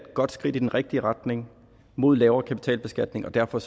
godt skridt i den rigtige retning mod lavere kapitalbeskatning og derfor